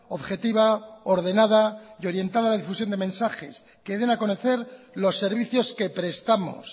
objetiva ordenada y orientada a la difusión de mensajes que den a conocer los servicios que prestamos